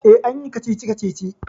E, an yi kacici-kacici.